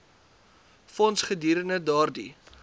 fonds gedurende daardie